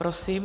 Prosím.